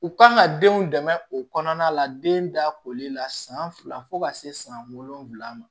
U ka kan ka denw dɛmɛ o kɔnɔna la den da koli la san fila fo ka se san wolonwula ma